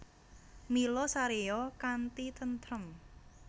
Mila saréya kanthi tentrem